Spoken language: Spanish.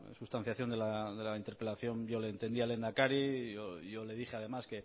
sustanciación de la interpelación yo le entendí al lehendakari yo le dije además